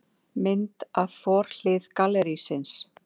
Mynd af forhlið gallerísins.